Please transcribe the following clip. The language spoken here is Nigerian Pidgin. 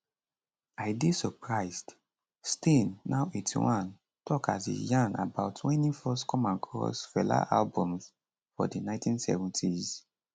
i dey surprised stein now 81 tok as e yarn about wen im first come across fela albums for di 1970s